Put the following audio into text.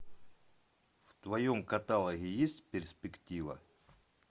в твоем каталоге есть перспектива